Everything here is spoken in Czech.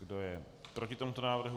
Kdo je proti tomuto návrhu?